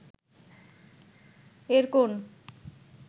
এর কোন